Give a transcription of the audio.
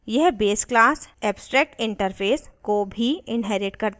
यह base class abstractinterface को भी inherits करता है